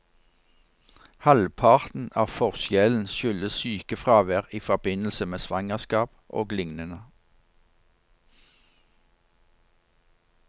Halvparten av forskjellen skyldes sykefravær i forbindelse med svangerskap og lignende.